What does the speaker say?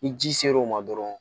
Ni ji ser'o ma dɔrɔn